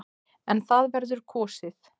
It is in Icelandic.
En það verður kosið.